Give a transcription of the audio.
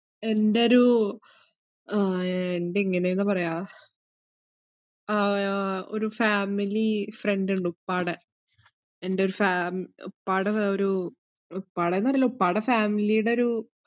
എന്റൊരു ആഹ് എൻ്റെ എങ്ങനെയാന്നാ പറയ്യാ ആഹ് ഒരു family friend ഇണ്ട് ഉപ്പാടെ എന്റൊരു ഫേം~ ഉപ്പാടെ വേ~ ഒരു ഉപ്പാടെന്നറിയില്ല ഉപ്പാടെ family ഈടെ ഒരു